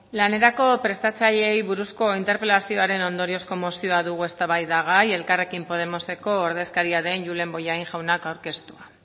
lanerako prestatzaileei buruzko interpelazioaren ondoriozko mozioa dugu eztabaidagai elkarrekin podemoseko ordezkaria den julen bollain jaunak aurkeztua